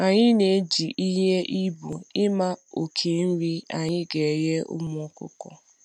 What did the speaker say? Anyi na eji ihe ihe eji ele ibu ima oke nri anyi ga enye ụmụ ọkụkọ